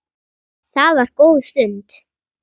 Það var góð stund.